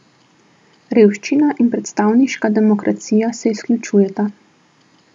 Revščina in predstavniška demokracija se izključujeta.